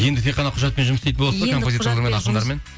енді тек қана құжатпен жұмыс істейтін боласыздар